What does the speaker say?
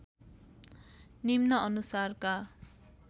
निम्न अनुसारका